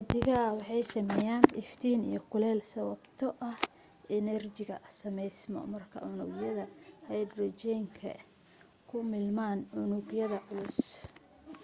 xidigaha waxa sameyaan iftiin iyo kuleel sababtoo ah enerjiga sameysmo marka unugyada hydrogen-ka ay ku milmaan unug yada culus